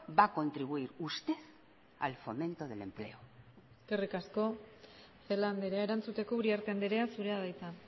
va a contribuir usted al fomento del empleo eskerrik asko celaá andrea erantzuteko uriarte andrea zurea da hitza